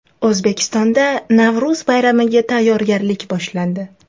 O‘zbekistonda Navro‘z bayramiga tayyorgarlik boshlandi.